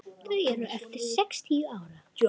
Þau eru eftir sextíu ár.